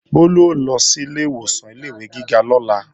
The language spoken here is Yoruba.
Bólú ó lọ sílé ìwòsàn ilé-ìwé gíga lọ́la